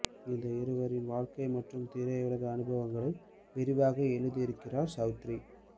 இந்த இருவரின் வாழ்க்கை மற்றும் திரையுலக அனுபவங்களை விரிவாக எழுதியிருக்கிறார் சௌத்ரி